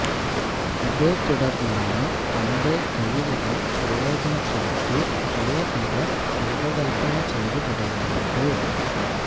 ഇതേ തുടര്ന്നാണ് തന്റെ കഴിവുകള് പ്രയോജനപ്പെടുത്തി റിയര്വ്യൂമിറര് രൂപകല്പന ചെയ്ത് തുടങ്ങിയത്